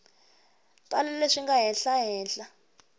tala leswi nga laha henhla